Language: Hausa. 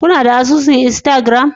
Kuna da asusun Instagram?